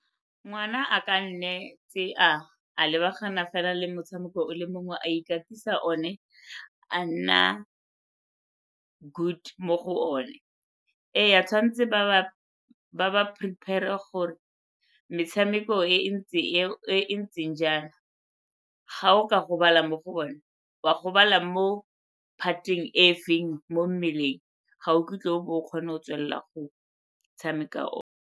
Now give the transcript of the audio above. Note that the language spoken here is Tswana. Ngwana a ka nne tse a lebagana fela le motshameko o le mongwe a ikatisa one, a nna good mo go one. Ee, tshwanetse ba ba prepare-re gore metshameko e e ntse e e ntseng jang, ga o ka gobala mo go bone, wa gobala mo part-eng e feng mo mmeleng ga o kitla o bo o kgone go tswelela go tshameka o.